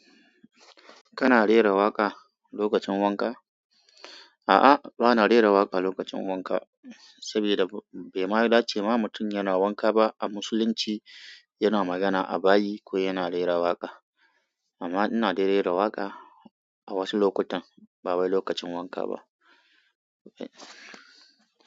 Kana rera waƙa lokacin wanka? A'a, bana rera waƙa lokacin wanka, saboda bai ma dace ma mutum yana wanka ba a musulunci yana magana a bayi, ko yana rera waka amma ina dai rera waƙa a wasu lokutan, ba wai lokacin wanka ba.